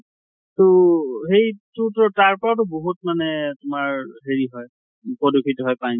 তʼ । সেইতো তো তাৰপৰা বহুত মানে তোমাৰ হেৰি হয় প্ৰদূষিত হয় পানীতো